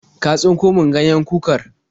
Ka tsinko min ganyen kukar?